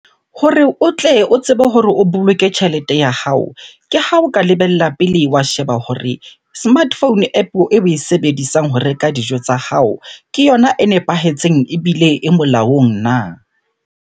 Hore o tle o tsebe hore o boloke tjhelete ya hao. Ke ha o ka lebella pele wa sheba hore smartphone App-o eo e sebedisang ho reka dijo tsa hao, ke yona e nepahetseng ebile e molaong na?